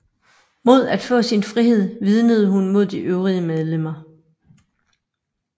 Mod at få sin frihed vidnede hun mod de øvrige medlemmer